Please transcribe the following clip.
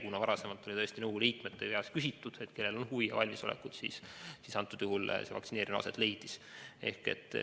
Kuna varasemalt oli tõesti nõukogu liikmete käest küsitud, et kellel on huvi ja valmisolekut, siis antud juhul see vaktsineerimine aset leidis.